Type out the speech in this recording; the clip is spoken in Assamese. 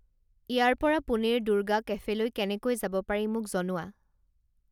ইয়াৰ পৰা পুনেৰ দুৰ্গা কেফেলৈ কেনেকৈ যাব পাৰি মোক জনোৱা